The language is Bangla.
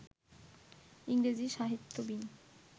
ইংরেজী-সাহিত্যবিৎ